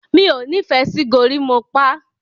mi'o ní ìfẹ sí gorimopa.